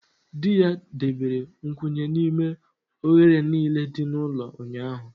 Di ya debere nkwụnye n'ime oghere niile dị n'ụlọ ụnyaahụ